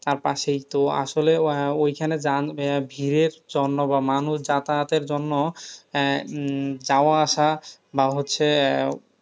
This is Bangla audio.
আর পাশেই তো আসলে আহ ঐখানে যান আহ ভীড়ের জন্য বা মানুষ যাতায়াতের জন্য আহ যাওয়া আসা বা হচ্ছে,